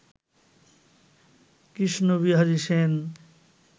Krishnabihari Sen